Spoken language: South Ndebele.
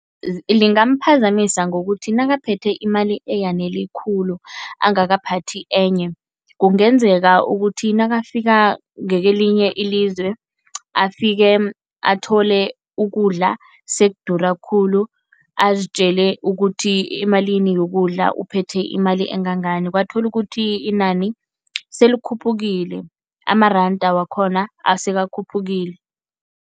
Lingamphazamisa ngokuthi nakaphethe imali eyanele khulu angakaphathi enye, kungenzeka ukuthi nakafika ngakwelinye ilizwe afike athole ukudla sekudura khulu azitjele ukuthi emalini yokudla uphethe imali engangani, kwathola ukuthi inani selikhuphukile, amaranda wakhona asekakhuphukile.